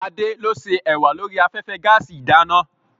Adé ló ṣé ẹ̀wà lórí afẹ́fẹ́ gaàsì ìdáná.